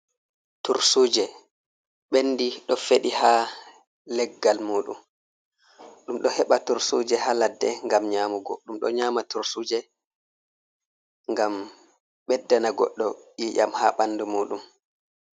Tursuje Ɓendi, ɗo Feɗi ha Leggal Muɗum, ɗum ɗo Heɓa Tursuje ha Ladde gam Nyamugo ɗum ɗo Nyama Tursuje ngam Beddana Goddo Iyam ha Ɓandu Muɗum.